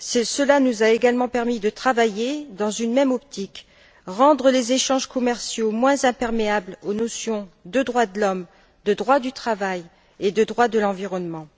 Cela nous a également permis de travailler dans une même optique rendre les échanges commerciaux moins imperméables aux notions de droits de l'homme, de droit du travail et de droit de l'environnement.